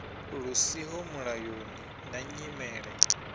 lu siho mulayoni na nyimele